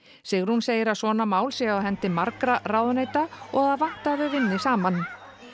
Sigrún segir að svona mál séu á hendi margra ráðuneyta og að það vanti að þau vinni saman